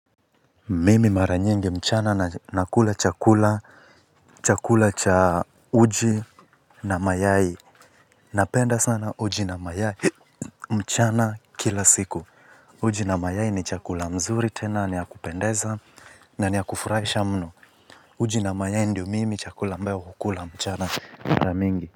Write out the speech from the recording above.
Mimi mara nyingi mchana na nakula chakula, chakula cha uji na mayai. Napenda sana uji na mayai mchana kila siku. Uji na mayai ni chakula mzuri tena ni yakupendeza na niyakufurahisha mno. Uji na mayai ndio mimi chakula ambayo hukula mchana mara mingi.